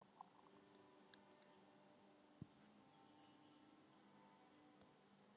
Meira gamanið það!